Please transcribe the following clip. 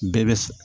Bɛɛ bɛ